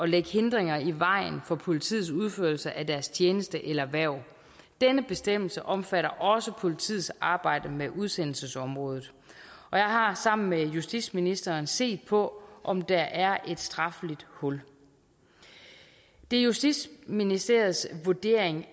lægge hindringer i vejen for politiets udførelse af deres tjeneste eller hverv denne bestemmelse omfatter også politiets arbejde med udsendelsesområdet og jeg har sammen med justitsministeren set på om der er et strafferetligt hul det er justitsministeriets vurdering